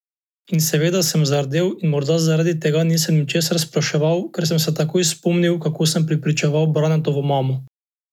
In seveda sem zardel in morda zaradi tega nisem ničesar spraševal, ker sem se takoj spomnil, kako sem prepričeval Branetovo mamo.